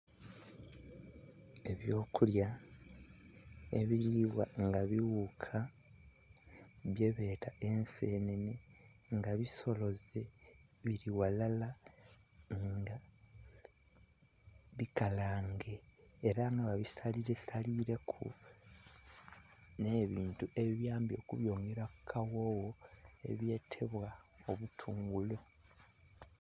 Ebyokulya, ebiribwa nga bighuka dhebeta ensenhenhe nga bisoloze biri ghalala nga bikalange era nga babisalire salireku n'ebintu ebibiyambye okubyongera kukaghogho ebyetebwa obutungulu.